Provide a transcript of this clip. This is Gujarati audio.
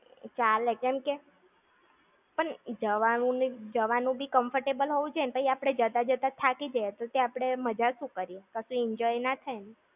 ચાલે. કેમકે, પણ જવાનું ને જવાનું બી comfortable હોવું જોઈએ ને! પછી આપણે જતા જતા જ થાકી જઇયે તો પછી આપણે મજા જ શું કરીયે? કશું enjoy ના થાય ને!